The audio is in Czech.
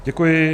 Děkuji.